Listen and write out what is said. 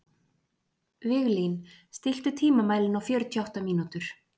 Viglín, stilltu tímamælinn á fjörutíu og átta mínútur.